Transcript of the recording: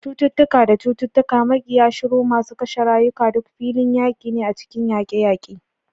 Cututtuka da cututtuka, makiya shuru masu kashe rayuka, duk filin yaƙi ne a cikin yaƙe-yaƙe.